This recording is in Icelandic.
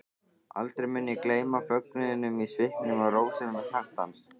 Aldrei mun ég gleyma fögnuðinum í svipnum og rósemi hjartans.